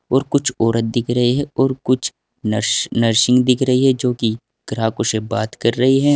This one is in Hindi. और कुछ औरत दिख रही है और कुछ नर्स नर्सिंग दिख रही है जो कि ग्राहकों से बात कर रही हैं।